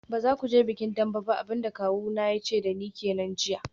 Ba za ku je bikin Dembe ba, abin da kawuna ya ce da ni jiya kenan.